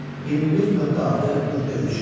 21.6.3.